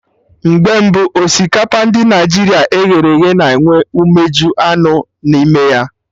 Mgbe mbụ, osikapa ndị Naịjirịa e ghere eghe na enwe umeji anụ n'ime ya